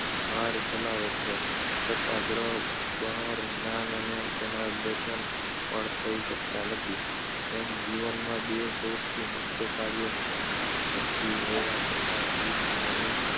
car ચલાવે છે છતાં ગૃહ બહારનાંને તેનાં દર્શન પણ થઈ શકતાં નથી તેમ જીવનમાં બે સૌથી મુખ્ય કાર્યો કરતી હોવા છતાં જીભ ઘણું